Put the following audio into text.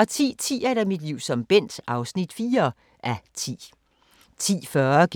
10:10: Mit liv som Bent (4:10) 10:40: